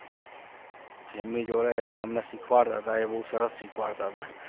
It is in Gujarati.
એમની જોડે જે એમને શીખવાડતા હતા એ બહુ સરસ શીખવાડતા હતા.